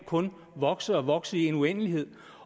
kun kan vokse og vokse i en uendelighed